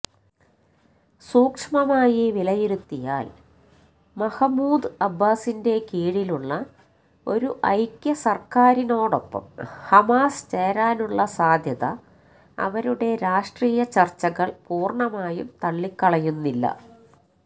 സൂക്ഷ്മമായി വിലയിരുത്തിയാല് മഹ്മൂദ് അബ്ബാസിന്റെ കീഴിലുള്ള ഒരു ഐക്യസര്ക്കാരിനോടൊപ്പം ഹമാസ് ചേരാനുള്ള സാധ്യത അവരുടെ രാഷ്ട്രീയചര്ച്ചകള് പൂര്ണമായും തള്ളിക്കളയുന്നില്ല